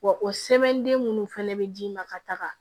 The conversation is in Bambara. Wa o sɛbɛnden minnu fana bɛ d'i ma ka taga